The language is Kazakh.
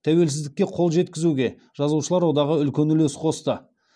тәуелсіздікке қол жеткізуге жазушылар одағы үлкен үлес қосты